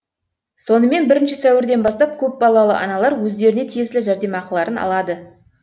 сонымен бірінші сәуірден бастап көпбалалы аналар өздеріне тиесілі жәрдемақыларын алады